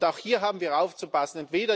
Auch hier haben wir aufzupassen.